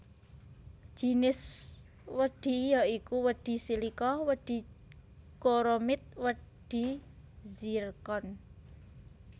Jinis wedhi ya iku wedhi silika wedhi chromit wedhi zircon